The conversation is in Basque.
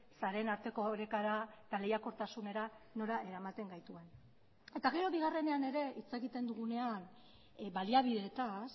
sareen arteko orekara eta lehiakortasunera nora eramaten gaituen eta gero bigarrenean ere hitz egiten dugunean baliabideetaz